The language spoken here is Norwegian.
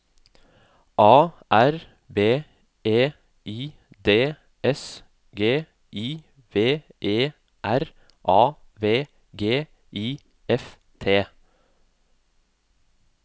A R B E I D S G I V E R A V G I F T